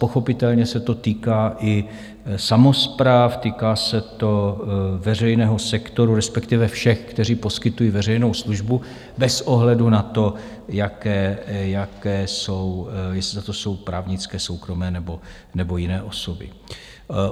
Pochopitelně se to týká i samospráv, týká se to veřejného sektoru, respektive všech, kteří poskytují veřejnou službu, bez ohledu na to, jaké jsou, jestli jsou to právnické, soukromé nebo jiné osoby.